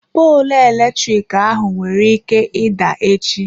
Poolụ eletrik ahụ nwere ike ịda echi.